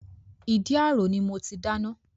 Ìdí àrò ni mo ti dáná